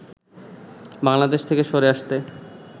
বাংলাদেশ থেকে সরে আসতে